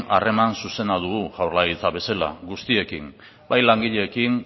harreman zuzena dugu jaurlaritza bezala guztiekin bai langileekin